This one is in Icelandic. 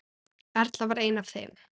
Erla var ein af þeim.